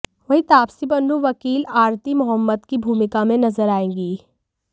वहीं तापसी पन्नू वकील आरती मोहम्मद की भूमिका में नजर आएंगी